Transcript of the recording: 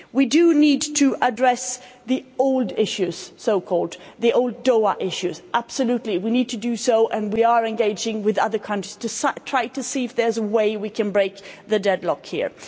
We do need to address the so called old issues, the old Doha issues, absolutely we need to do so, and we are engaging with other countries to try to see if there's a way we can break the deadlock here.